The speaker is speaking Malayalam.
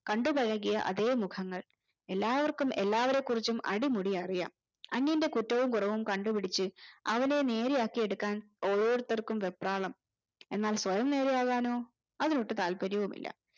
കണ്ടു പഴകിയ അതെ മുഖങ്ങൽ എല്ലാവര്ക്കും എല്ലാവരെ കുറിച്ചും അടിമുടി അറിയാം അന്യന്റെ കുറ്റവും കോരവും കണ്ടു പിടിച്ചു അവനെ നേരെ ആക്കി എടുക്കാൻ ഓരോരുത്തർക്കും വെപ്രാളം എന്നാൽ സ്വയം നേരെയാവാനോ അതിനൊട്ടും താല്പര്യവുമില്ല